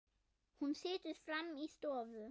Hún situr frammi í stofu.